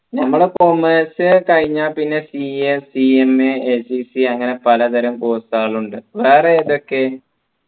ഞമ്മളെ commerce കഴിഞ്ഞാ പിന്നെ CACMAACCA അങ്ങനെ പലതരം course കൾ ഉണ്ട് വേറെ ഏതൊക്കെ